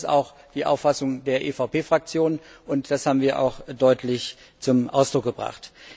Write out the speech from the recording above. Und das ist auch die Auffassung der EVP Fraktion, und das haben wir auch deutlich zum Ausdruck gebracht.